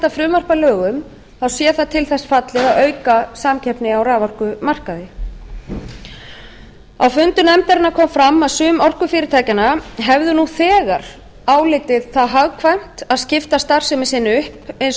frumvarp að lögum sé það til þess fallið að auka samkeppni á raforkumarkaði á fundum nefndarinnar kom fram að sum orkufyrirtækjanna hefðu nú þegar álitið hagkvæmt að skipta starfsemi sinni upp eins